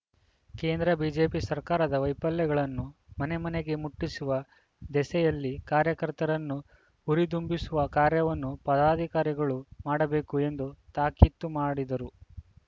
ಕೇಂದ್ರ ಬಿಜೆಪಿ ಸರ್ಕಾರದ ವೈಫಲ್ಯಗಳನ್ನು ಮನೆ ಮನೆಗೆ ಮುಟ್ಟಿಸುವ ದೆಸೆಯಲ್ಲಿ ಕಾರ್ಯಕರ್ತರನ್ನು ಹುರಿದುಂಬಿಸುವ ಕಾರ್ಯವನ್ನು ಪದಾಧಿಕಾರಿಗಳು ಮಾಡಬೇಕು ಎಂದು ತಾಕೀತು ಮಾಡಿದರು